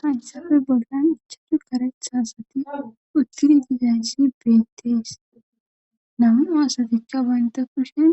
Hayssappe bollan ichashu kareththa asati utidi dizayssi beetees. nam'u asatikka bantta kushen